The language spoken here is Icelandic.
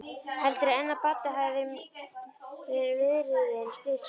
Heldurðu enn að Baddi hafi verið viðriðinn slysið?